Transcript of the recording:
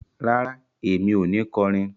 Rárá, èmi o ni kọrin